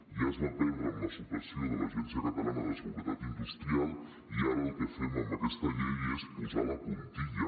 ja es va perdre amb la supressió de l’agència catalana de seguretat industrial i ara el que fem amb aquesta llei és posar la puntilla